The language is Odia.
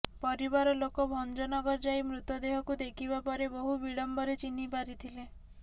ପରିବାର ଲୋକ ଭଞ୍ଜନଗର ଯାଇ ମୃତଦେହକୁ ଦେଖିବା ପରେ ବହୁ ବିଳମ୍ବରେ ଚିହ୍ନି ପାରିଥିଲେ